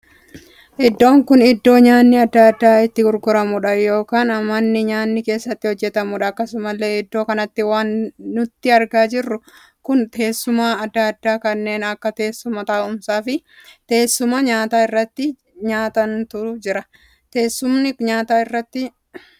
Iddoo kun iddoo nyaanni addaa addaa itti gurguramuudha ykn mana nyaanni keessatti hojjetamuudha. Akkasumallee iddoo kanatti waan nuti argaa jirru kun teessuma addaa addaa kanneen akka teessuma taa'umsaa fi teessuma nyaata irratti nyaatantu jira. Teessumni nyaata irratti nyaatan kun mooraa adii qaba.